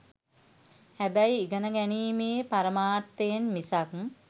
හැබැයි ඉගෙනගැනීමේ පරමාර්ථයෙන් මිසක්